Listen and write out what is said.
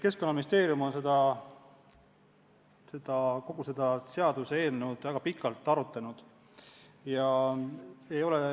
Keskkonnaministeerium on kogu seda seaduseelnõu väga pikalt arutanud.